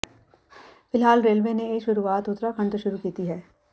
ਫਿਲਹਾਲ ਰੇਲਵੇ ਨੇ ਇਹ ਸ਼ੁਰੂਆਤ ਉੱਤਰਾਖੰਡ ਤੋਂ ਸ਼ੁਰੂ ਕੀਤੀ ਹੈ